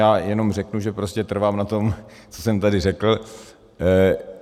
Já jenom řeknu, že prostě trvám na tom, co jsem tady řekl.